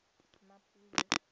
mmapule